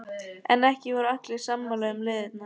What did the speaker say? En ekki voru allir sammála um leiðirnar.